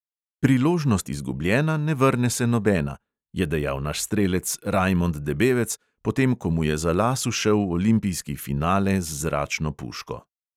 "Priložnost izgubljena, ne vrne se nobena!" je dejal naš strelec rajmond debevec, potem ko mu je za las ušel olimpijski finale z zračno puško.